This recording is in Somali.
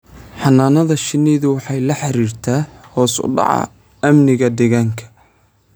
Xannaanada shinnidu waxay la xiriirtaa hoos u dhaca amniga deegaanka.